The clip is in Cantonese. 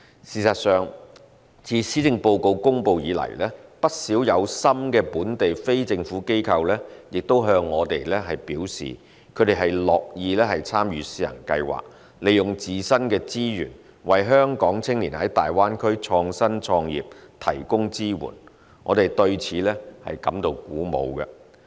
事實上，自施政報告公布以來，不少有心的本地非政府機構也向我們表示，他們樂意參與試行計劃，利用自身的資源為香港青年在大灣區創新創業提供支援，我們對此感到鼓舞。